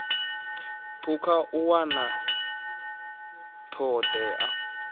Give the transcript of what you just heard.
phukha u wana ṱho ḓea